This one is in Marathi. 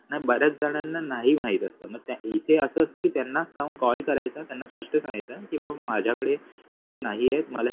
बऱ्याच जणांना नाही माहित असत मग इथे असत की त्यांनाच जाऊन call करायचा त्यांना स्पष्ट सांगायचं की बाबा माझ्याकडे पैसे नाहीयेत. मला हे